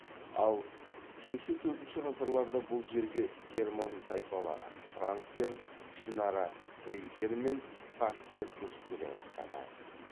ал үшінші төртінші ғасырларда бұл жерге герман тайпалары франктер ішінара фриздер мен сакстер көшіп келе бастады